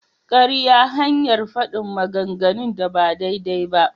Ƙarya hanyar faɗin maganganun da ba daidai ba.